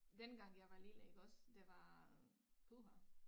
Dengang jeg var lille iggås det var puha